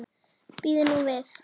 Bíðum nú við.